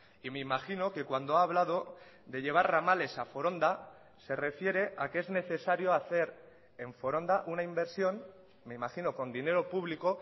y me imagino que cuando ha hablado de llevar ramales a foronda se refiere a que es necesario hacer en foronda una inversión me imagino con dinero público